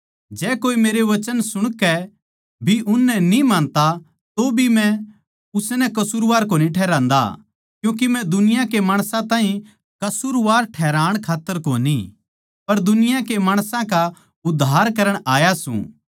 जै कोए मेरे वचन सुणकै भी उननै न्ही मानता तोभी मै उसनै कसूरवार कोनी ठहरान्दा क्यूँके मै दुनिया के माणसां ताहीं कसूरवार ठहराण खात्तर कोनी पर दुनिया के माणसां का उद्धार करण खात्तर आया सूं